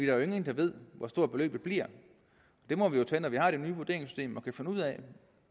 jo ingen der ved hvor stort beløbet bliver det må vi jo tage når vi har det nye vurderingssystem og kan finde ud af